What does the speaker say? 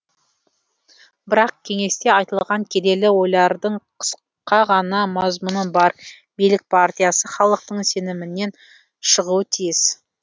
бірақ кеңесте айтылған келелі ойлардың қысқа ғана мазмұны бар билік партиясы халықтың сенімінен шығуы тиіс